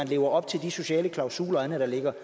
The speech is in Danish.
levet op til de sociale klausuler og andet der ligger